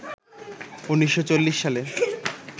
১৯৪০ সালের